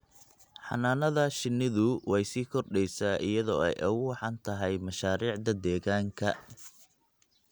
Xannaanada shinnidu way sii kordheysaa iyadoo ay ugu wacan tahay mashaariicda deegaanka.